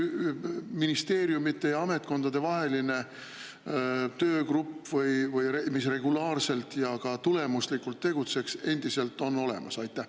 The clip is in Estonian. Kas mingi ministeeriumide- ja ametkondadevaheline töögrupp, mis regulaarselt ja ka tulemuslikult tegutseks, on endiselt olemas?